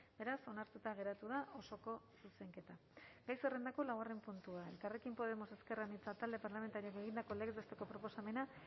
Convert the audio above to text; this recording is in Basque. beraz onartuta geratu da osoko zuzenketa gai zerrendako laugarren puntua elkarrekin podemos ezker anitza talde parlamentarioak egindako legez besteko proposamena